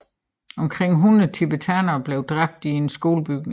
Omkring 100 talibanere blev dræbt i en skolebygning